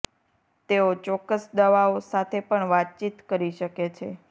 તેઓ ચોક્કસ દવાઓ સાથે પણ વાતચીત કરી શકે છે